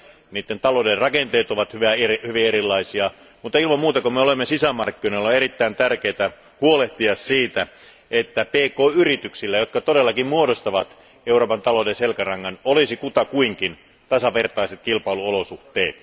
Niiden talouden rakenteet ovat hyvin erilaisia, mutta ilman muuta kun me olemme sisämarkkinoilla, on erittäin tärkeä huolehtia siitä, että pk yrityksillä, jotka todellakin muodostavat Euroopan talouden selkärangan, olisi kutakuinkin tasavertaiset kilpailuolosuhteet.